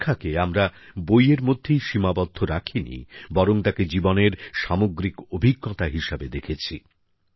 শিক্ষাকে আমরা বইয়ের মধ্যেই সীমাবদ্ধ রাখিনি বরং তাকে জীবনের সামগ্রিক অভিজ্ঞতা হিসেবে দেখেছি